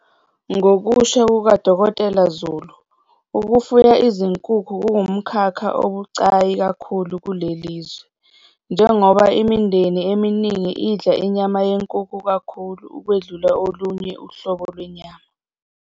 Ngokusho kuka-Dkt Zulu, ukufuya izinkukhu kungumkhakha obucayi kakhulu kuleli lizwe, njengoba imindeni eminingi idla inyama yenkukhu kakhulu ukwedlula olunye uhlobo lwenyama.